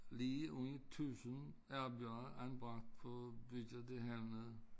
Lige under 1000 arbejdere anbragt på at bygge det hernede